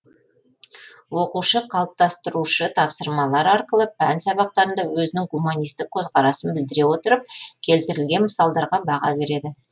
оқушы қалыптастырушы тапсырмалар арқылы пән сабақтарында өзінің гуманистік көзқарасын білдіре отырып келтірілген мысалдарға баға береді